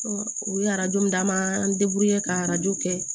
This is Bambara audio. u ye arajo d'an ma an ka arajo kɛ